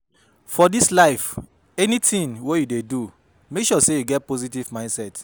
For dis life anytin wey yu dey do mek sure sey yu get positive mindset